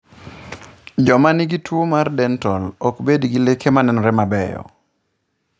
Joma nigi tuwo mar dental, ok bed gi leke ma nenore mabeyo.